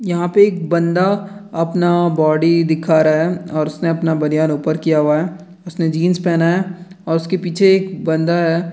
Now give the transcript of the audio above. यहां पे एक बंदा अपना बॉडी दिखा रहा है और उसने अपना बनियान ऊपर किया हुआ है उसने जींस पहना है और उसके पीछे एक बंदा है।